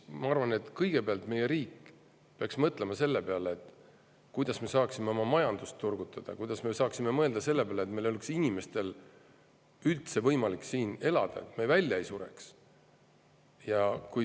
Ma arvan, et kõigepealt peaks meie riik mõtlema selle peale, kuidas me saaksime oma majandust turgutada ja kuidas inimestel oleks üldse võimalik siin elada, nii et me välja ei sureks.